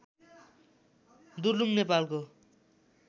दुर्लुङ नेपालको